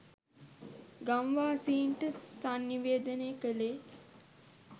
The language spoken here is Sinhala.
ගම්වාසීන්ට සන්නිවේදනය කළේ